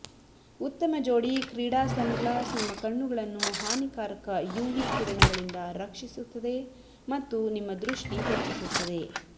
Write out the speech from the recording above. ಉತ್ತಮ ಜೋಡಿ ಕ್ರೀಡಾ ಸನ್ಗ್ಲಾಸ್ ನಿಮ್ಮ ಕಣ್ಣುಗಳನ್ನು ಹಾನಿಕಾರಕ ಯುವಿ ಕಿರಣಗಳಿಂದ ರಕ್ಷಿಸುತ್ತದೆ ಮತ್ತು ನಿಮ್ಮ ದೃಷ್ಟಿ ಹೆಚ್ಚಿಸುತ್ತದೆ